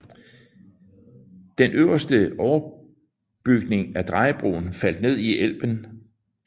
Den østlige overbygning af drejebroen faldt ned i Elben